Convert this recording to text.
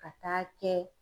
Ka taa kɛ